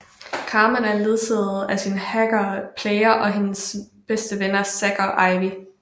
Carmen er ledsaget af sin hacker Player og hendes bedste venner Zack og Ivy